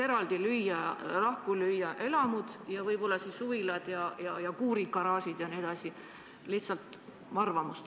Me võiks siiski lahku lüüa elamud ning suvilad, kuurid, garaažid jne.